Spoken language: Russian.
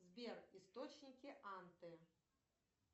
сбер источники анты